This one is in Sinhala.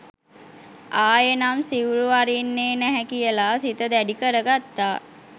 ආයෙනම් සිවුරු අරින්නේ නැහැ කියලා සිත දැඩි කරගත්තා.